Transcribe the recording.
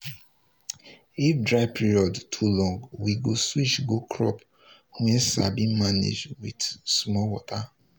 if dry period too long we go switch go crop wey sabi manage with small water.